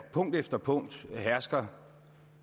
punkt efter punkt hersker